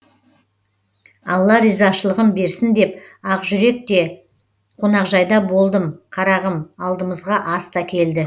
алла ризашылығын берсін деп ақжүрек те қонақжайда болдым қарағым алдымызға ас та келді